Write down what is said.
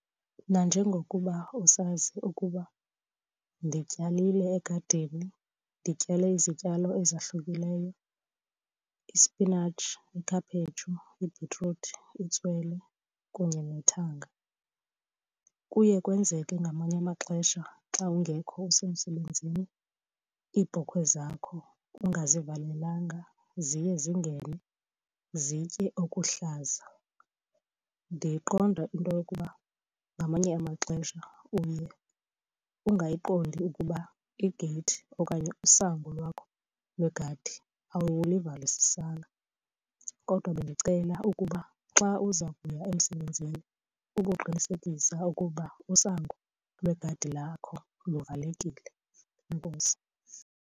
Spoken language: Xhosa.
Nanjengokuba usazi ukuba ndityalile egadini, ndityale izityalo ezahlukileyo, ispinatshi, ikhaphetshu, ibhitruthi, itswele kunye nethanga. Kuye kwenzeke ngamanye amaxesha xa ungekho usemsebenzini, iibhokhwe zakho ungazivalelanga ziye zingene zitye okuhlanza. Ndiyayiqonda into yokuba ngamanye amaxesha uye ungayiqondi ukuba igeyithi okanye usango lwakho lwegadi awuluvalisisanga. Kodwa bendicela ukuba xa uza kuya emsebenzini uboqinisekisa ukuba usango lwegadi lakho luvalekile. Enkosi.